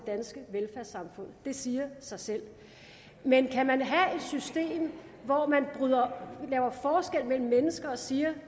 danske velfærdssamfund det siger sig selv men kan man have et system hvor man gør forskel mellem mennesker og siger